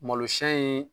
Malosi in